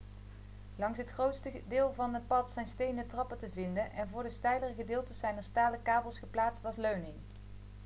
langs het grootste deel van het pad zijn stenen trappen te vinden en voor de steilere gedeeltes zijn er stalen kabels geplaatst als leuning